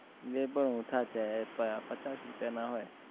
જે પણ ઓછા છે અ પચાસ રૂપિયા ના હોય